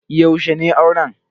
Yaushe ne auren?